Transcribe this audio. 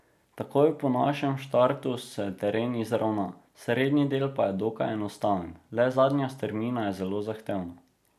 Takoj po našem štartu se teren izravna, srednji del pa je dokaj enostaven, le zadnja strmina je zelo zahtevna.